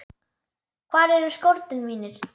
Hvar eru skórnir mínir?